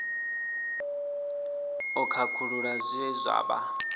u khakhulula zwe zwa vha